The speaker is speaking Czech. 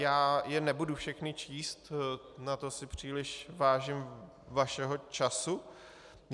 Já je nebudu všechny číst, na to si příliš vážím vašeho času.